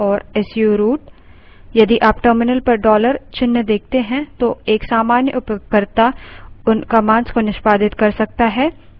sudo su or su root यदि आप terminal पर $dollar चिन्ह देखते हैं तो एक सामान्य उपयोगकर्ता उन commands को निष्पादित कर सकता है